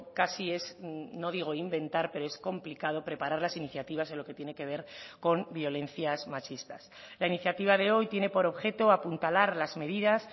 casi es no digo inventar pero es complicado preparar las iniciativas en lo que tiene que ver con violencias machistas la iniciativa de hoy tiene por objeto apuntalar las medidas